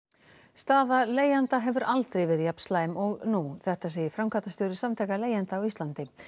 staða leigjenda hefur aldrei verið jafn slæm og nú þetta segir framkvæmdastjóri Samtaka leigjenda á Íslandi